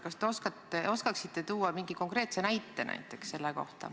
Kas te oskaksite selle kohta tuua konkreetse näite?